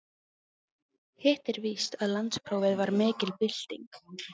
Hitt er víst að landsprófið var mikil bylting.